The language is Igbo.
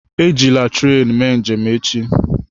Ejila tren mee njem echi!